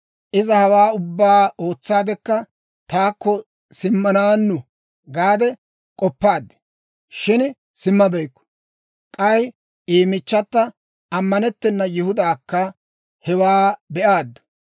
Iza hawaa ubbaa ootsaadekka, taakko simmanaannu gaade k'oppaad, shin simmabeykku. K'ay I michchata, ammanettena Yihudaakka hewaa be'aaddu.